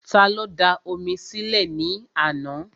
Ta ló da omi sí lẹ̀ ní àná?